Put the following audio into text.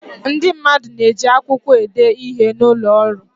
Ndị mmadụ na-eji akwụkwọ ede ihe n'ụlọ ọrụ.